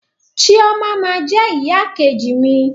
Chioma ma jẹ ìyá ìkejì mi.